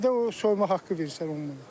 Bir də o soyma haqqı verirlər 10 manat.